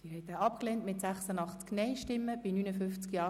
Sie haben die Planungserklärung 2 abgelehnt.